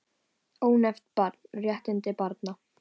Ónefnt barn: Réttindi barna.